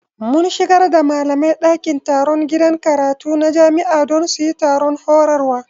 Mun shigar da malamai dakin taron gidan karatu na jami'a don su yi taron horarwa